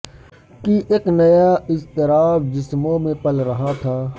کہ اک نیا اضطراب جسموں میں پل رہا تھا